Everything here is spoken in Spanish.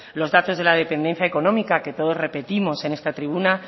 los datos de la dependencia económica que todos repetimos en esta tribuna